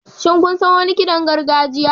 Shin kun san wani kiɗan gargajiya?